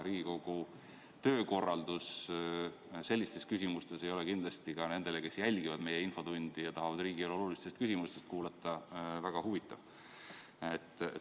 Riigikogu töökorralduse sellised küsimused ei ole kindlasti ka nendele, kes jälgivad meie infotundi ja tahavad riigielu oluliste küsimuste arutelu kuulata, väga huvitavad.